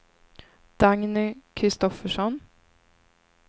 Dagny Kristoffersson